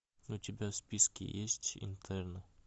у тебя в списке есть интерны